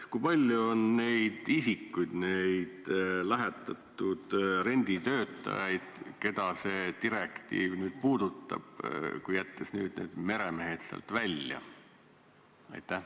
Kui palju on neid isikuid, neid lähetatud renditöötajaid, keda see direktiiv puudutab, kui jätta need meremehed sealt välja?